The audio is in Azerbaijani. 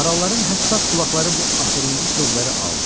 Maralların həssas qulaqları bu axırıncı sözləri aldı.